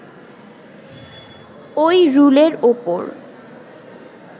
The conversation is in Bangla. ওই রুলের ওপর